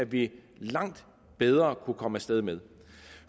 vi langt bedre kunne komme af sted med